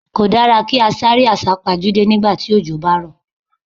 Kò dára kí á sáré àsá pajúdé nígbà tí òjò bá ń rọ̀.